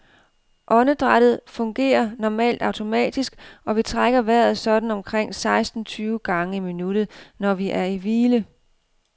Åndedrættet fungerer normalt automatisk, og vi trækker vejret sådan omkring seksten tyve gange i minuttet, når vi er i hvile.